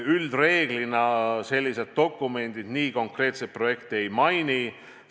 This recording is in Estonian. Üldreeglina sellised dokumendid nii konkreetselt projekte ei maini.